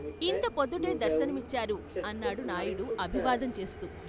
"ఇంత పొద్దుటే దర్శనమిచ్చారు " అన్నాడు నాయుడు అభివాదం చేస్తూ.